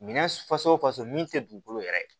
Minɛn faso faso min tɛ dugukolo yɛrɛ ye